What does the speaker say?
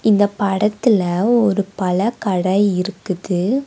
இந்த படத்துல ஒரு பல கடை இருக்குது.